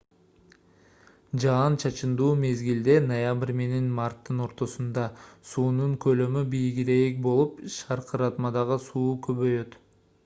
жаан-чачындуу мезгилде ноябрь менен марттын ортосунда суунун көлөмү бийигирээк болуп шаркыратмадагы суу көбөйөт